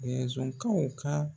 ka.